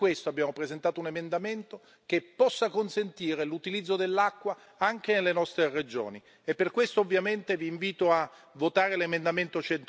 Per questo abbiamo presentato un emendamento che possa consentire l'utilizzo dell'acqua anche nelle nostre regioni e per questo vi invito a votare l'emendamento